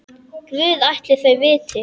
Guð ætli þau viti.